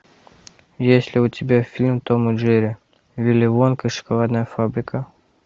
есть ли у тебя фильм том и джерри вилли вонка и шоколадная фабрика